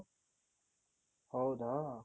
ಹೌದಾ